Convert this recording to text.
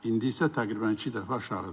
İndi isə təqribən iki dəfə aşağıdır.